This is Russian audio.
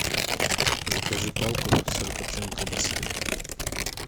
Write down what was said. закажи палку сырокопченой колбасы